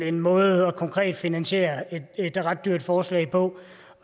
en måde konkret at finansiere et ret dyrt forslag på